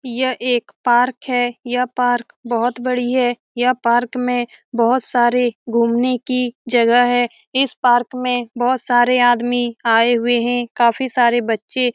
यह एक पार्क है। यह पार्क बहुत बड़ी है यह पार्क में बहुत सारे घुमने कि जगह है। इस पार्क मे बहुत सारे आदमी आए हुए है। काफी सारे बच्चे --